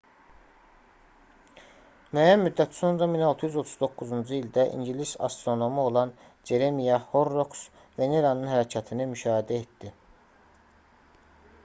müəyyən müddət sonra 1639-cu ildə ingilis astronomu olan ceremiah horroks veneranın hərəkətini müşahidə etdi